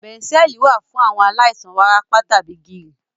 Bẹ̀ńsẹ̀ẹ̀lì wà fún àwọn aláìsàn wárápá tàbí gìrì.